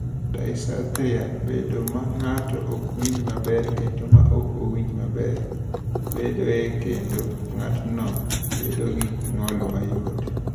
"Dysarthria (bedo ma ng’ato ok winjo maber kendo ma ok winjo maber) bedoe, kendo ng’atno bedo gi ng’ol mayot."